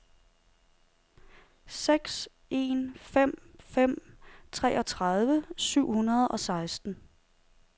seks en fem fem treogtredive syv hundrede og seksten